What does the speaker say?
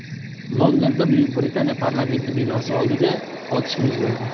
Londonda Buyuk Britaniya parlamenti binosi oldida otishma yuz berdi.